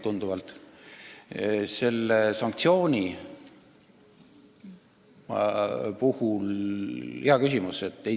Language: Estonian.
Mis puutub sellesse sanktsiooni, siis see on hea küsimus.